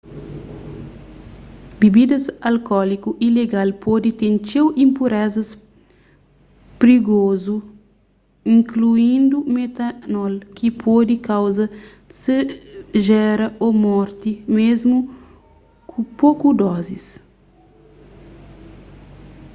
bibidas alkóliku ilegal pode ten txeu inpurezas prigozu inkluindu metanol ki pode kauza segera ô morti mésmu ku poku dozis